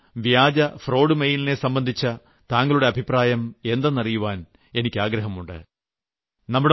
ഇങ്ങനെയുളള cheat fraud mail നെ സംബന്ധിച്ച താങ്കളുടെ അഭിപ്രായം എന്തെന്ന് അറിയാൻ എനിക്ക് ആഗ്രഹമുണ്ട്